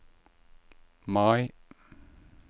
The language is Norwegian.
Mai